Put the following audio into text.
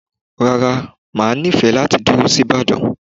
Rárá, máa nifẹ láti dúró sí Ibadan